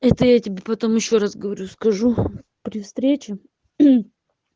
это я тебе потом ещё раз говорю скажу при встрече